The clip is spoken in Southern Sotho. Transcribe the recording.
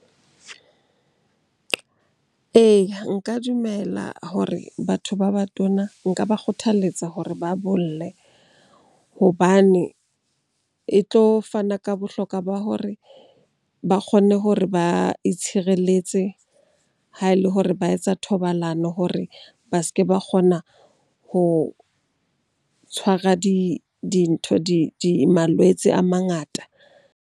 Eya, nka dumela hore batho ba batona nka ba kgothaletsa hore ba bolle. Hobane e tlo fana ka bohlokwa ba hore ba kgone hore ba itshireletse ha e le hore ba etsa thobalano hore ba se ke ba kgona ho tshwara dintho di malwetse a mangata.